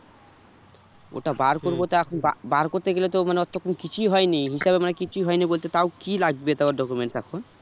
ওর টা বার এখন বা~ বার করতে গেলে তো মানে ওর তো এখন কিছুই হয়নি হিসেবে মানে কিছুই হয়নি বলতে তাও কি লাগবে তাও ওর documents এখন?